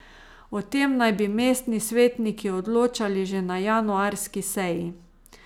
O tem naj bi mestni svetniki odločali že na januarski seji.